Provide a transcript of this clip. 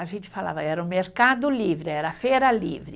A gente falava, era o mercado livre, era a feira livre.